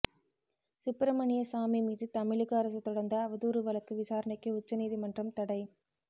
சுப்பிரமணியசாமி மீது தமிழக அரசு தொடர்ந்த அவதூறு வழக்கு விசாரணைக்கு உச்ச நீதிமன்றம் தடை